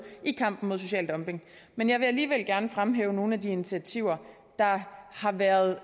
i kampen mod social dumping men jeg vil alligevel gerne fremhæve nogle af de initiativer der har været